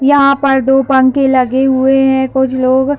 यहाँ पर दो पंखे लगे हुए हैं कुछ लोग --